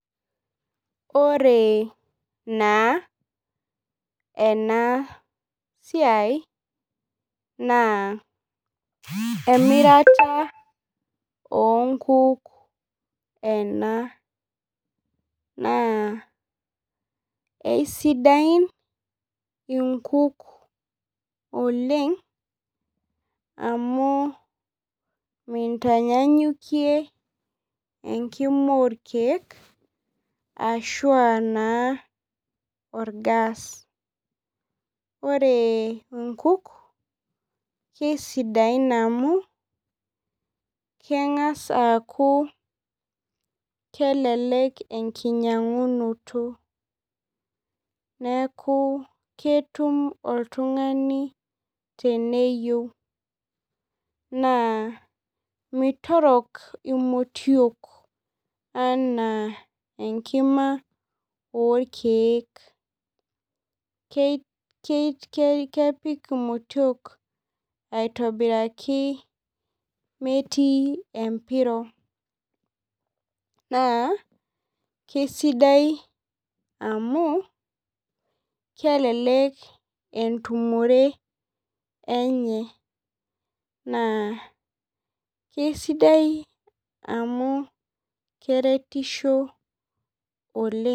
Ore na enasiai na emirata onkuk ena na eisidai inkuk oleng amu mi tanyanyikie enkima orkiek ashua naa orgaas ore nkuk kesidain amu kengasa aaku kelelek enkinyangunoto neaku ketum oltungani teneyieu na mitorok inotiok ana enkima orkiek kepik inotiok aitobiraki metii empiro na kesidai amu kelelek entumoto emye na kesidai amu keretisho oleng.